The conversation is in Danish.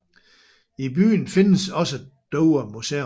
I byen findes også Dover Museum